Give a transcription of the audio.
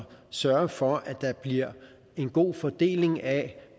sørger for at der bliver en god fordeling af